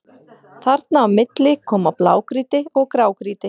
Þarna á milli koma blágrýti og grágrýti.